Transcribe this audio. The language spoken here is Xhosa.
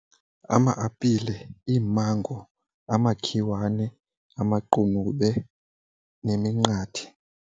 Ama-apile, iimango, amakhiwane, amaqunube neminqathe.